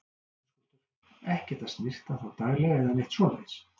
Höskuldur: Ekkert að snyrta þá daglega eða neitt svoleiðis?